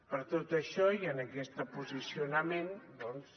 per tot això i amb aquest posicionament doncs